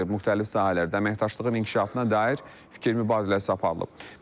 Müxtəlif sahələrdə əməkdaşlığın inkişafına dair fikir mübadiləsi aparılıb.